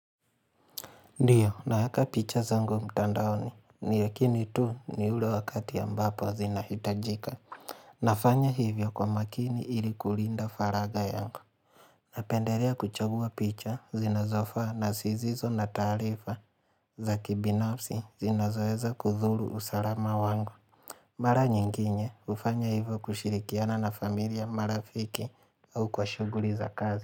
Ndiyo, naeka picha zangu mtandaoni, ni lakini tu ni ule wakati ambapo zinahitajika. Nafanya hivyo kwa makini ili kulinda faraga yangu. Napendelea kuchagua picha zinazofaa na zisizo na taarifa za kibinafsi zinazoeza kudhuru usalama wangu. Mara nyinginye hufanya hivyo kushirikiana na familia marafiki au kwa shughuli za kazi.